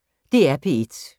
DR P1